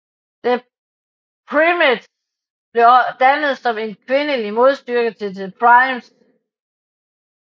The Primettes blev dannet som et kvindeligt modstykke til The Primes